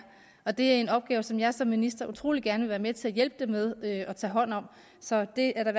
og det er en opgave som jeg som minister utrolig gerne vil være med til at hjælpe dem med at tage hånd om så det er der